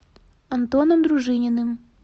антоном дружининым